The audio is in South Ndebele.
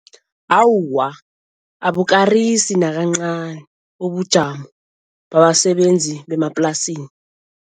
Awa, Abukarisi nakancani ubujamo babasebenzi bemaplasini.